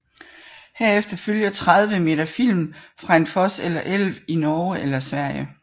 Herefter følger 30 meter film fra en fos eller elv i Norge eller Sverige